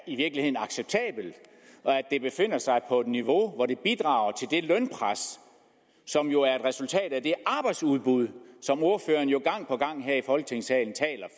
acceptabel og at det befinder sig på et niveau hvor det bidrager til det lønpres som jo er et resultat af det arbejdsudbud som ordføreren jo gang på gang her i folketingssalen taler